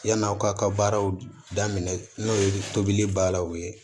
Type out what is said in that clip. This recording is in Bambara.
Yann'aw ka baaraw daminɛ n'o ye tobili b'a la u ye